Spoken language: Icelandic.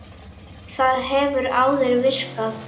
Það hefur áður virkað.